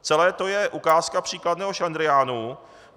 Celé to je ukázka příkladného šlendriánu.